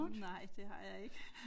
Nej det har jeg ikke